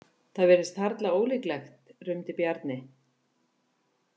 Það virðist harla ólíklegt, rumdi Bjarni.